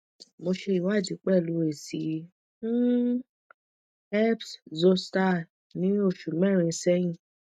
mo ṣe iwadi pẹ̀lu esi um herpes zoster ni oṣu mẹ́rin sẹ́yin